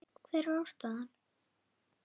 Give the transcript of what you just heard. Hver er ástæðan?